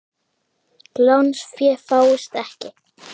Lánsfé fáist ekki.